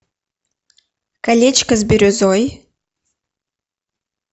колечко с бирюзой